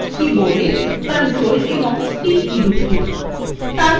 keyboard এ copy করার জন্য ctrl ও c কী দুটি টিপুন